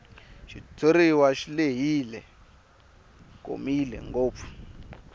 xitshuriwa xi lehile komile ngopfu